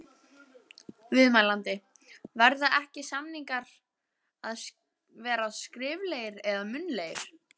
Viðmælandi: Verða ekki, samningar að vera skriflegir eða munnlegir?